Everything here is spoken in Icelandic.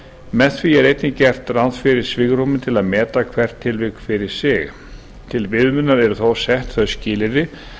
með því er einnig gert ráð fyrir svigrúmi til að meta hvert tilvik fyrir sig til viðmiðunar eru þó sett þau skilyrði